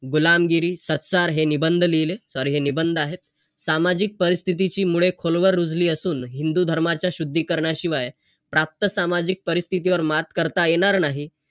गुलामगिरी, सत्सार हे निबंध लिहिले. Sorry हे निबंध आहेत. सामाजिक परिस्थितीची मुळे खोलवर रुजली असून हिंदुधर्माच्या शुद्धीकरणाशिवाय, प्राप्त सामाजिक परिस्थितीवर मात करता येणार नाही.